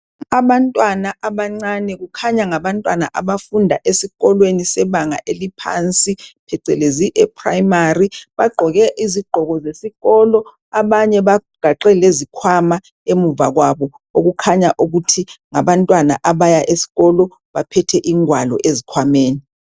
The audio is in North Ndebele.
Abantwana abancane kukhanya ngabantwana abafunda esikolweni sebanga eliphansi phecelezi eprimary, bagqoke izigqoko zesikolo abanye bagaxe lezikhwama emuva kwabo okukhanya ukuthi ngabantwana abaya esikolo baphethe ingwalo ezikhwameni.